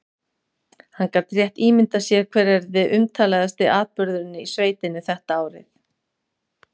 Hann gat rétt ímyndað sér hver yrði umtalaðasti atburðurinn í sveitinni þetta árið.